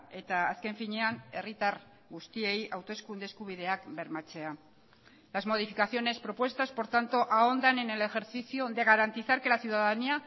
eta azken finean herritar guztiei hauteskunde eskubideak bermatzea las modificaciones propuestas por tanto ahondan en el ejercicio de garantizar que la ciudadanía